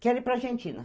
Quero ir para Argentina.